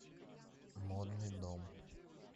модный дом